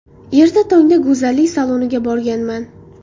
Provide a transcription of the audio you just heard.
Erta tongda go‘zallik saloniga borganman.